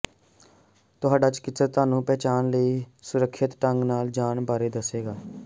ਤੁਹਾਡਾ ਚਿਕਿਤਸਕ ਤੁਹਾਨੂੰ ਪਹਿਚਾਨਣ ਲਈ ਸੁਰੱਖਿਅਤ ਢੰਗ ਨਾਲ ਜਾਣ ਬਾਰੇ ਦੱਸੇਗਾ